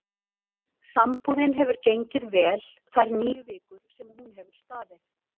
Sambúðin hefur gengið vel þær níu vikur sem hún hefur staðið.